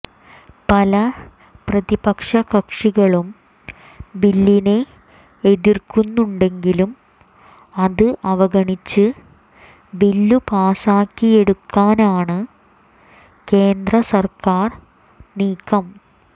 പല പ്രതിപക്ഷ കക്ഷികളും ബില്ലിനെ എതിർക്കുന്നുണ്ടെങ്കിലും അത് അവഗണിച്ച് ബില്ലു പാസ്സാക്കിയെടുക്കാനാണ് കേന്ദ്ര സർക്കാർ നീക്കം